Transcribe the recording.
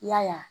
I y'a ye